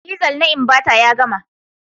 Diesel na Inverter ya gama.